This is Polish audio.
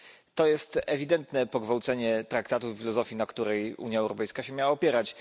To jest ewidentne pogwałcenie traktatów i filozofii, na której Unia Europejska miała się opierać.